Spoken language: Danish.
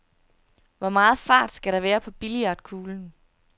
Hvor meget fart skal der være på billiardkuglen?